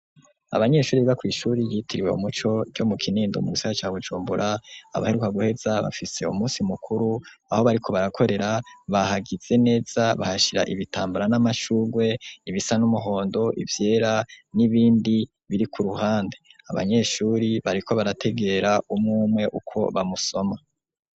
Abanyeshuri biga kw'ishuri ryitiriwe umuco co mu kinindo munsi ya ca Bujumbura abaheruka guheza bafise umunsi mukuru aho bariko barakorera bahagize neza bahashira ibitambara n'amashugwe ibisa n'umuhondo ivyera n'ibindi biri ku ruhande abanyeshuri bariko barategera umumwe uko bamusoma.